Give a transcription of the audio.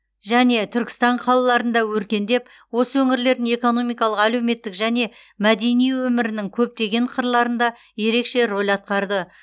және түркістан қалаларында өркендеп осы өңірлердің экономикалық әлеуметтік және мәдени өмірінің көптеген қырларында ерекше рөл атқарды